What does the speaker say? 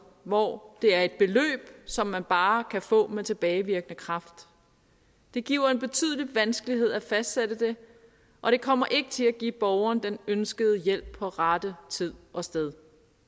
hvor det er et beløb som man bare kan få med tilbagevirkende kraft det giver en betydelig vanskelighed at fastsætte det og det kommer ikke til at give borgerne den ønskede hjælp på rette tid og sted